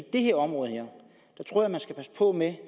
det her område tror jeg man skal passe på med